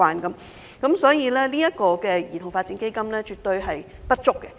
由此可見，兒童發展基金絕對不足。